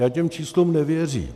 Já těm číslům nevěřím.